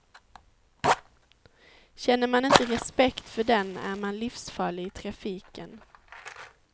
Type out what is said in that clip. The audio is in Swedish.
Känner man inte respekt för den är man livsfarlig i trafiken.